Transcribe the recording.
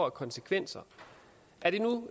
af konsekvenser